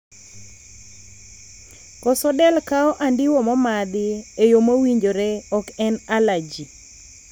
koso del kawo andiwo momadhi e yoo mowinjore ok en alaji